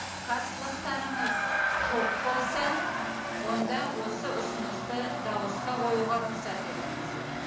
қарсылықтарыңыз жоқ болса онда осы ұсынысты дауысқа қоюға рұқсат етіңіздер